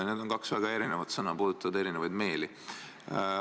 Need on kaks väga erinevat sõna, mis puudutavad eri meeli.